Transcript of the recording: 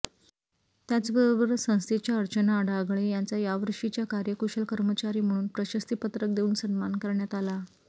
त्याचबरोबर संस्थेच्या अर्चना अढागळे यांचा यावर्षीच्या कार्यकुशल कर्मचारी म्हणून प्रशस्तीपत्रक देऊन सन्मान करण्यात आला